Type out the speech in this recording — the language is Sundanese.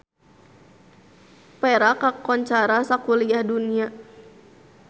Perak kakoncara sakuliah dunya